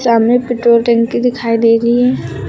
सामने पेट्रोल टंकी दिखाई दे रही है।